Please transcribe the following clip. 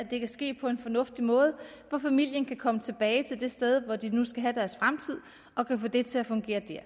det kan ske på en fornuftig måde og familien kan komme tilbage til det sted hvor de nu skal have deres fremtid og kan få det til at fungere der